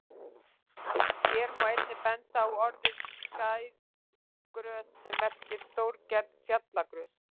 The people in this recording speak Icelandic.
Hér má einnig benda á orðið skæðagrös sem merkir stórgerð fjallagrös.